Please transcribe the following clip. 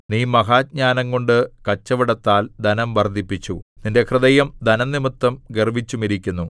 നീ മഹാജ്ഞാനംകൊണ്ട് കച്ചവടത്താൽ ധനം വർദ്ധിപ്പിച്ചു നിന്റെ ഹൃദയം ധനംനിമിത്തം ഗർവ്വിച്ചുമിരിക്കുന്നു